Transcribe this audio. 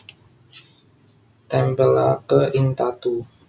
Tempelaké ing tatu